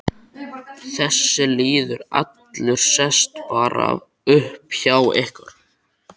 Þessi lýður allur sest bara upp hjá ykkur.